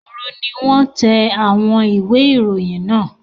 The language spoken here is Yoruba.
Òru ni wọ́n tẹ àwọn ìwé-ìròyìn náà.